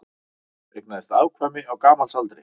Eignaðist afkvæmi á gamalsaldri